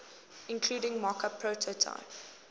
including mockup prototype